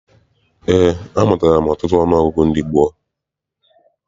Eé, amụtala m ọtụtụ ọnụọgụgụ ndị gboo.